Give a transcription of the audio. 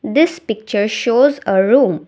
This picture shows a room.